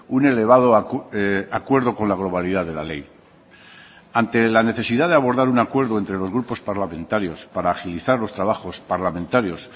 un elevado acuerdo con la globalidad de la ley ante la necesidad de abordar un acuerdo entre los grupos parlamentarios para agilizar los trabajos parlamentarios